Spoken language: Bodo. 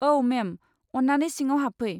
औ, मेम, अन्नानै सिङाव हाबफै।